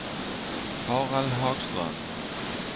Harald Hagström